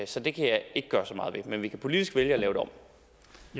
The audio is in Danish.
så det kan jeg ikke gøre så meget ved men vi kan politisk vælge at lave det om